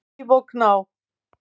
Líf og Gná.